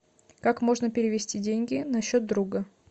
как можно перевести деньги на счет друга